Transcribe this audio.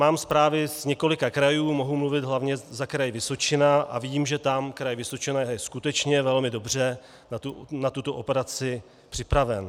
Mám zprávy z několika krajů, mohu mluvit hlavně za Kraj Vysočina a vím, že tam Kraj Vysočina je skutečně velmi dobře na tuto operaci připraven.